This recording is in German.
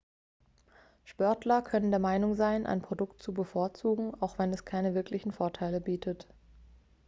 sportler können der meinung sein ein produkt zu bevorzugen auch wenn es keine wirklichen vorteile bietet